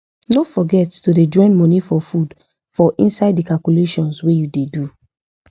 no forget to da join money for food for inside the calculations wa u da do